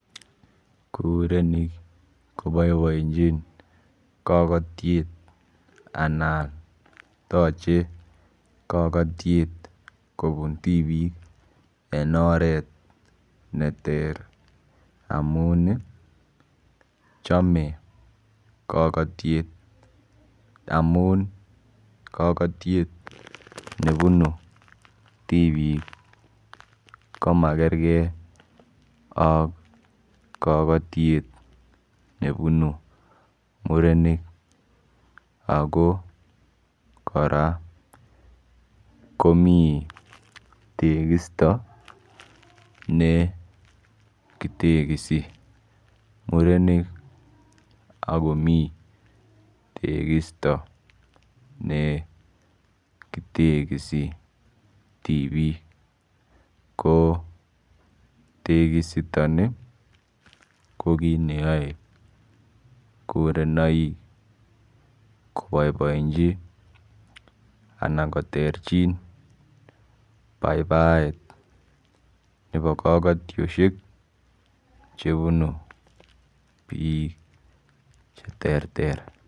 Kurenik koboiboechin kokotiet anan tochei kokotiet kobuntipik en oret neter amun chomei kokotiet amun kokotiet nebuni tipik komakerkei ak kakatiet nebunu murenik ako kora komi tekisto ne kitekisi murenik akomi tekisto nekitekisi tipik ko tekisto ni ko kiit neyoe kurenoik koboiboenchi anan koterchin baibaet nebo kokotioshek chebunu biik che ter ter.